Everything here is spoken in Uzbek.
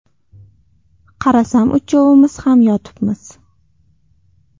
Qarasam uchovimiz ham yotibmiz.